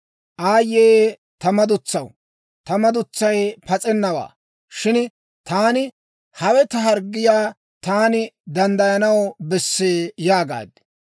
Aayye ta madutsaw! Ta madutsay pas'ennawaa. Shin taani, «Hawe ta harggiyaa; taani danddayanaw bessee» yaagaad.